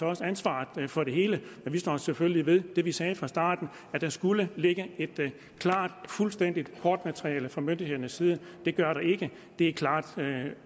også ansvaret for det hele men vi står selvfølgelig ved det vi sagde fra starten at der skulle ligge et klart og fuldstændigt kortmateriale fra myndighedernes side det gør der ikke det er klart